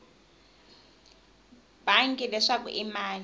bangi leswaku i mani a